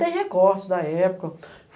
Tem recortes da época.